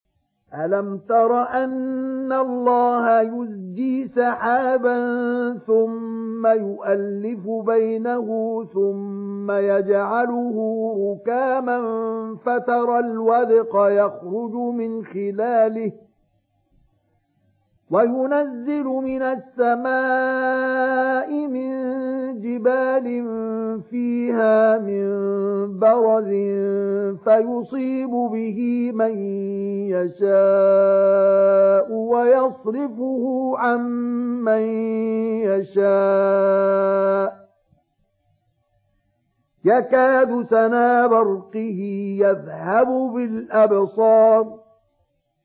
أَلَمْ تَرَ أَنَّ اللَّهَ يُزْجِي سَحَابًا ثُمَّ يُؤَلِّفُ بَيْنَهُ ثُمَّ يَجْعَلُهُ رُكَامًا فَتَرَى الْوَدْقَ يَخْرُجُ مِنْ خِلَالِهِ وَيُنَزِّلُ مِنَ السَّمَاءِ مِن جِبَالٍ فِيهَا مِن بَرَدٍ فَيُصِيبُ بِهِ مَن يَشَاءُ وَيَصْرِفُهُ عَن مَّن يَشَاءُ ۖ يَكَادُ سَنَا بَرْقِهِ يَذْهَبُ بِالْأَبْصَارِ